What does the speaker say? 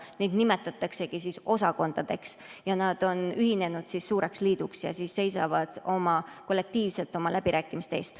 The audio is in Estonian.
Neid nimetataksegi osakondadeks, nad on ühinenud suureks liiduks ja seisavad kollektiivselt oma läbirääkimiste eest.